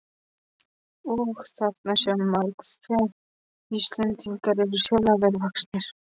Og: Þarna sér maður, hve Íslendingar eru sérlega vel vaxnir.